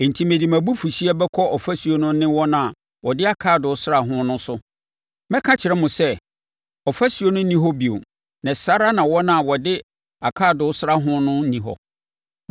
Enti mede mʼabufuhyeɛ bɛkɔ ɔfasuo no ne wɔn a wɔde akaadoo sraa ho no so. Mɛka akyerɛ mo sɛ, ɔfasuo no nni hɔ bio, na saa ara na wɔn a wɔde akaadoo sraa ho no nni hɔ.